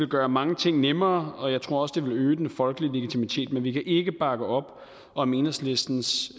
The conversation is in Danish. gøre mange ting nemmere og jeg tror også det ville øge den folkelige legitimitet men vi kan ikke bakke op om enhedslistens